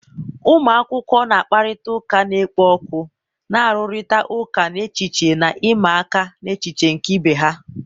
ụmụ akwụkwọ na-akparịta ụka na-ekpo ọkụ, na-arụrịta ụka n'echiche na ịma aka n'echiche nke ibe ha.